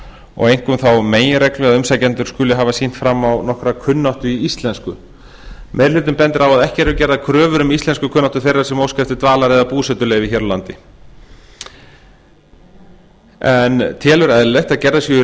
og einkum þá meginreglu að umsækjendur skulu hafa sýnt fram á nokkra kunnáttu í íslensku meiri hlutinn bendir á að ekki eru gerðar kröfur um íslenskukunnáttu þeirra sem óska eftir dvalar eða búsetuleyfi hér á landi en telur eðlilegt að gerðar séu